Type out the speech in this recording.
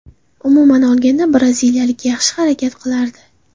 Umuman olganda braziliyalik yaxshi harakat qilardi.